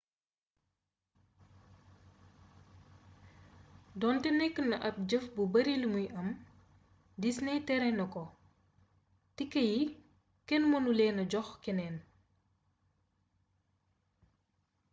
doonte nekk na ab jëf bu bari limuy am disney tere na ko tike yi kenn menu leena jox keneen